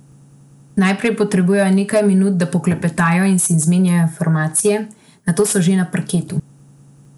Najprej potrebujejo nekaj minut, da poklepetajo in si izmenjajo informacije, nato so že na parketu.